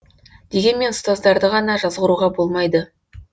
дегенмен ұстаздарды ғана жазғыруға болмайды